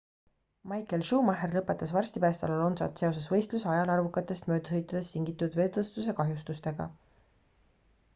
michael schumacher lõpetas varsti pärast alonsot seoses võistluse ajal arvukatest möödasõitudest tingitud vedrustuse kahjustustega